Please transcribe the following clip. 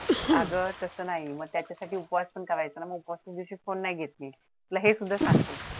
अगं तस नाही. मग त्याच्यासाठी उपवास पण करायचा असतो. मग उपवासाच्या दिवशी फोने पण नाही घेत ती